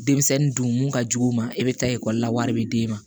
Denmisɛnnin dun mun ka jugu u ma e bɛ taa ekɔli la wari bɛ d'e ma